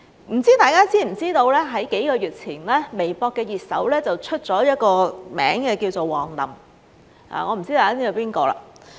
不知大家知不知道在數個月前，微博熱搜出了一個名字叫王林，我不知大家知不知道是誰。